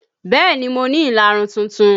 Bẹẹ ni, mo ní ìlarun tuntun